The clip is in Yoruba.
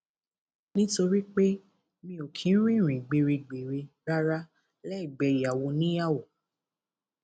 nítorí pé mi ò kì í rin ìrìn gbéregbère rárá lẹgbẹ ìyàwó oníyàwó